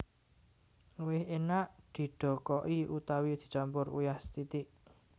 Luwih enak didokoki utawi dicampur uyah sethithik